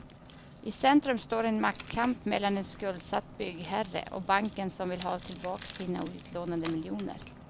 I centrum står en maktkamp mellan en skuldsatt byggherre och banken som vill ha tillbaka sina utlånade miljoner.